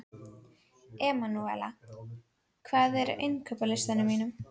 Emanúela, hvað er á innkaupalistanum mínum?